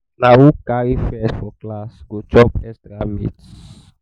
na who carry first for class go chop extra meat.